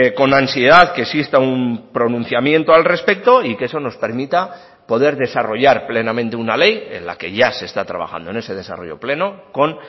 con ansiedad que exista un pronunciamiento al respecto y que eso nos permita poder desarrollar plenamente una ley en la que ya se está trabajando en ese desarrollo pleno con